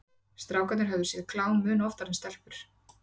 Strákar höfðu séð klám mun oftar en stelpur.